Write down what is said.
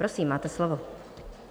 Prosím, máte slovo.